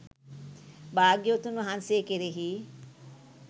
භාග්‍යවතුන් වහන්සේ කෙරෙහි